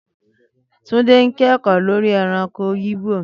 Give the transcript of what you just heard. Túndé ń kẹ́kọ̀ọ́ lórí ẹranko igbo